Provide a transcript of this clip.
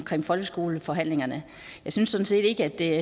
folkeskoleforhandlingerne jeg synes sådan set ikke at det